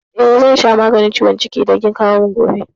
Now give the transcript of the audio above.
Eh, zan sha maganin ciwon ciki idan kin kawo min gobe.